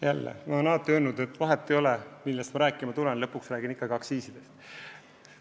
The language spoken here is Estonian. Jälle, ma olen korduvalt öelnud, et vahet ei ole, millest ma rääkima tulen, lõpuks räägin ikkagi aktsiisidest.